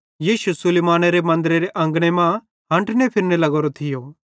यीशु सुलैमानेरे मन्दरेरे अंगने मां हंठने फिरने लग्गोरो थियो